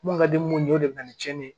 Mun ka di mun ye o de bɛ na ni cɛnni ye